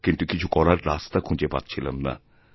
কিন্তু কিছু করার রাস্তাখুঁজে পাচ্ছিলাম না